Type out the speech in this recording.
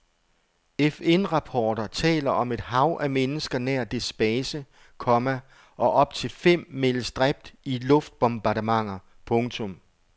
FNrapporter taler om et hav af mennesker nær dets base, komma og op til fem meldes dræbt i luftbombardementer. punktum